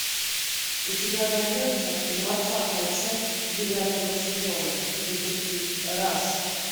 у тебя найдется двадцатая часть девятого сезона детектив раш